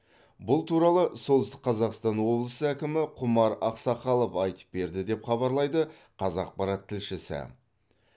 бұл туралы солтүстік қазақстан облысы әкімі құмар ақсақалов айтып берді деп хабарлайды қазақпарат тілшісі